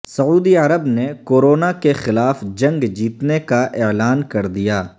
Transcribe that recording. سعودی عرب نے کورونا کیخلاف جنگ جیتنے کا اعلان کردیا